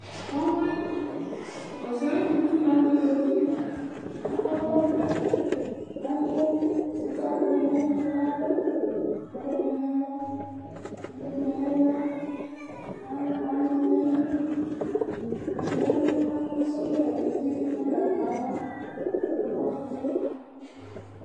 Ɔwli Ɔsɛyi Tutu la nutɛ zãti Akɔ agbawlɛ Atu sikakũ ni nu ɛtu ku abu Aɖu ɛdini nu ɛmɔ, aɖu ɛdini nu iɣla, ku ɔyani ɔyani nu inekpe ayu idu Ɛdigbo yãvu, ku asa ɔwlɛ nu ũtí Ɔna ɖu awu nu ãvã Akɔ tsitsi